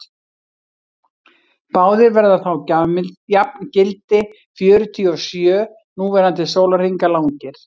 báðir verða þá jafngildi fjörutíu og sjö núverandi sólarhringa langir